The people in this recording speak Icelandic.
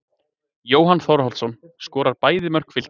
Jóhann Þórhallsson skorar bæði mörk Fylkis.